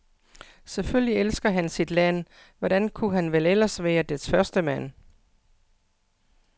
Selvfølgelig elsker han sit land, hvordan kunne han vel ellers være dets førstemand?